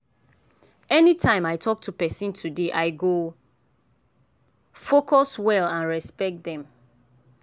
anytime i talk to person today i go focus well and respect them.